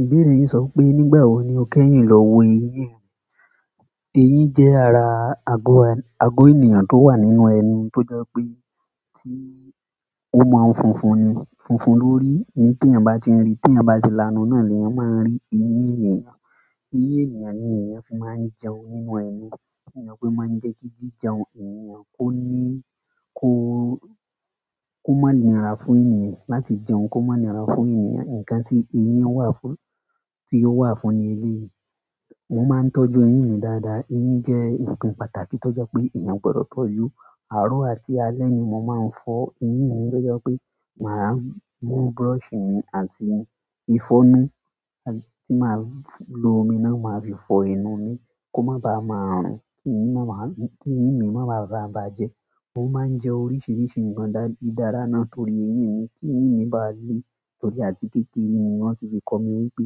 Ìbéèrè yín sọ wipé nígbà wo ni o kẹ́yìn lọ wo eyín ẹ. Eyín jẹ́ ara ago, ago ènìyàn tó wà nínú ẹnu tó jẹ́ pé tí ó mọ ń funfun ni, funfun lórí. Ni tí èèyàn bá ti n ri, tèèyàn bá ti lánu náà ni èèyàn máa ń rí eyín ènìyàn. Eyín ènìyàn ni èèyàn fi máa ń jẹun nínú ẹnu. Nítorí pé o máa ń jẹ́ kí jíjẹun ènìyàn kó ní, kó má nira fún èèyàn láti jẹun, kó má nira fún èèyàn. Ǹkan tí eyíun wà fún, tí ó wà fún ni eléèyi. Mo máa ń tọ́jú eyín mi dáadáa. Eyín jẹ́ nǹkan pàtàkì tó jẹ́ pé èèyàn gbọdọ̀ tọ́jú. Àárọ̀ àti alẹ́ ni mo máa ń fọ eyín mi tó jẹ́ pé màá mú brush mi àti ìfọnu tí màá lo omi náà màá fi fọ ẹnu mi kó má bá máa rùn, kí eyín má bá, kí eyín mi má bá ma bàjẹ́. Mo máa ń jẹ oríṣiríṣi ǹkan dáradára ná torí eyín mi kí eyín mi bá le, torí àti kékeré ni wọ́n sì fi kọ́ mi wípé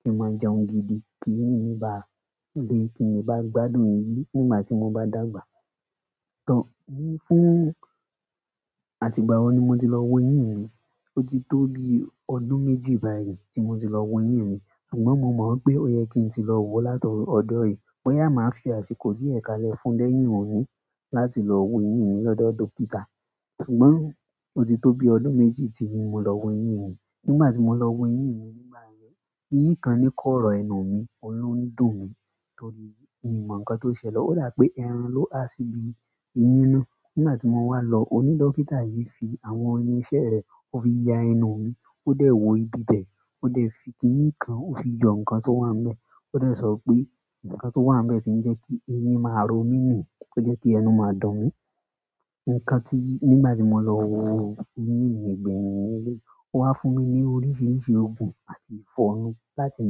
kí n máa jẹun gidi kí eyín mi bá le, kí n le bá gbádùn eyìn nígbà tí mo bá dàgbà. Tọ́, fún, àti ìgbà wo ni mo ti lọ wo eyín mi. Ó ti tó bi ọdún méjì báyìí tí mo ti lọ wo eyín mi. Ṣùgbọ́n mo mọ̀ wipé ó yẹ kí n tí lọ wo láti ọjọ yí. Boyà máa fi àsìkò díẹ̀ kalẹ̀ fún lẹ́yìn oni láti lọ wo eyín mi lọ́dọ̀ dókítà. Ṣùgbọ́n ó ti tó bi ọdún méjì tí mo lọ wo eyín mi. Nígbà tí mo lọ wo eyín mi nígbà yẹn, eyín kan ní kọ́rọ̀ ẹnu mi, óun ló ń dùn mí torí mi ò mọ̀ nǹkan tó ṣẹlẹ̀. Ó dà wipé ẹran ló ha sí ibí eyín náà. Nígbà tí mo wá lọ, oní dókítà yìí fi àwọn irin iṣẹ́ rẹ̀, ó fi ya ẹnu mi, ó dẹ̀ wọ ibi bẹ̀, ó dẹ̀ fi, kíni kan, ó fi yọ nǹkan tó wà nbẹ̀. Ó dẹ̀ sọ pé nǹkan tó wà níbẹ̀ tí ń jẹ́ kí eyín máa ń ro mí ni, tó jẹ́ kí ẹnu máa dún mí. Ǹkan tí nígbà tí mo lọ wo eyín mi gbẹ́yin leleyii, ó wá fún mi ní oríṣiríṣi oògùn àti ìfọnu láti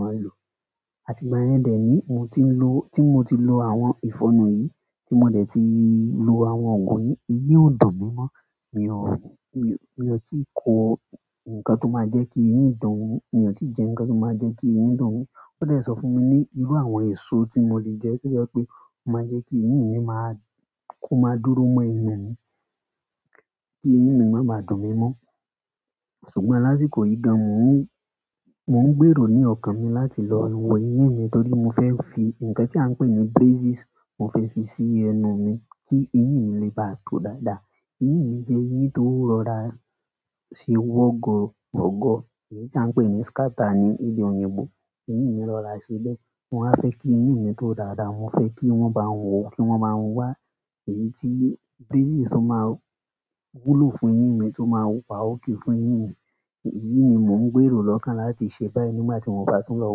máa lò. Àti ìgbà yẹn dẹ́ ni mo ti ń lo, tí mo ti lo àwọn ìfọnu yìí, tí mo dẹ̀ ti lo àwọn oògùn yìí, eyín ò dún mí mọ́. Mi ò, mi ò tí ì ko nǹkan tó máa jẹ́ kí eyín dùn mi. Mi ò tí jẹ nǹkan tó máa jẹ́ kí eyín dùn mi. Ó dẹ̀ sọ fún mi ní irú àwọn èso tí mo lè jẹ tó jẹ́ pé máa jẹ́ kí eyín mi máa, kó máa dúró mọ́ ẹnu mi, kí eyín mi má bá dùn mí mọ́. Ṣùgbọ́n lásìkò yi gan mo n gbero ni okan mi láti lo wo eyin, torí mo fe fi nkan ti a npe ni braises mo fe fi si ẹnu mi ki eyin mi le ba to dada. Eyín mi jẹ́ eyín tó rọra ṣe wọ́gowogo. Èyí tí a ń pè ní scatter ní èdè oyinbó. Eyín mi rọra ṣe bẹ́ẹ̀. Mo wa fẹ́ kí eyín mi tó dáadáa. Mo fẹ́ kí wọ́n bá n wò ó, kí wọ́n báa n wá èyí tí braces tó máa wúlò fún eyín mi, tó máa wa okay fún eyín mi. Èyí ni mò ń gbèrò lọ́kàn láti ṣe báyìí nígbà tí mo bá tún lọ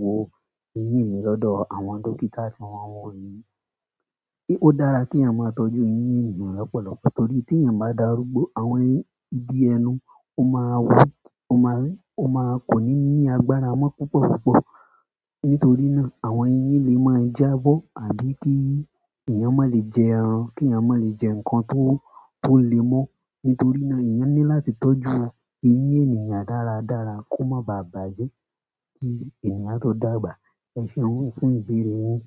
wo eyín mi lọ́dọ̀ àwọn dókítà tí wọ́n wo eyin. Ó dára ki èèyàn máa tọ́jú eyín èèyàn lọ́pọ̀lọpọ̀ torí tí èèyàn bá darúgbó, àwọn rigi ẹnu ó máa weak, kò ní ní agbára mọ́ púpọ̀púpọ̀. Nítorí náà àwọn eyín lè máa jábọ́ àbí kí èèyàn má lè jẹ ẹran, kí èèyàn má lè jẹ nǹkan tó, tó le mọ́. Nítorí náà èèyàn ní láti tọ́jú eyín èèyàn dáradára kó má bà bàjẹ́ kí èèyàn tó dàgbà. Ẹ ṣéun fún ìbéèrè yín.